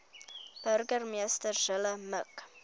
burgemeester zille mik